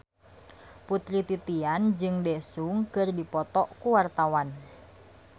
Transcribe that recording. Putri Titian jeung Daesung keur dipoto ku wartawan